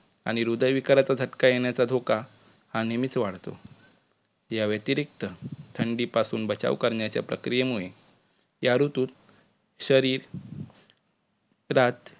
आणि हृदय विकाराचा झटका येण्याचा धोका हा नेहमीच वाढतो. या व्यतिरिक्त थंडीपासून बचाव करण्याच्या प्रक्रियेमुळे या ऋतुत शरीर त्रात